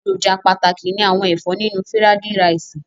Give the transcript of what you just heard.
Èròjà pàtàkì ni àwọn ẹ̀fọ́ nínú fírádí raìsì.